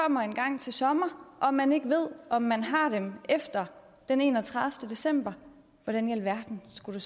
kommer engang til sommer og man ikke ved om man har dem efter den enogtredivete december hvordan i alverden skulle